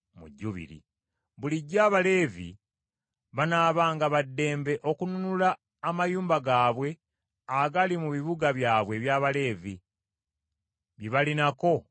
“Bulijjo Abaleevi banaabanga ba ddembe okununula amayumba gaabwe agali mu bibuga byabwe eby’Abaleevi bye balinako obwannannyini.